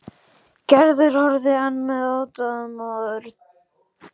Gerður og horfði enn með aðdáun á Örn.